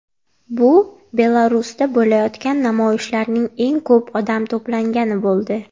Bu Belarusda bo‘layotgan namoyishlarning eng ko‘p odam to‘plangani bo‘ldi.